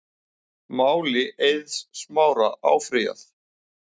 Máli Eiðs Smára áfrýjað